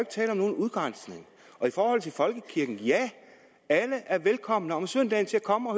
tale om nogen udgrænsning i forhold til folkekirken ja alle er velkomne om søndagen til at komme